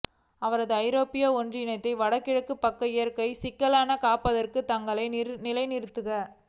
அவரது ஐரோப்பிய ஒன்றியத்தின் வடகிழக்கு பக்க இயற்கை சிக்கலான காப்பதற்கு தங்களை நிலைநிறுத்திக்